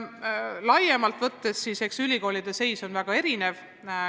Laiemalt võttes tuleb tunnistada, et ülikoolide seis on väga erinev.